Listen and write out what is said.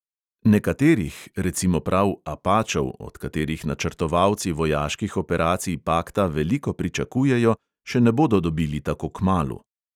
Nekaterih, recimo prav "apačev", od katerih načrtovalci vojaških operacij pakta veliko pričakujejo, še ne bodo dobili tako kmalu.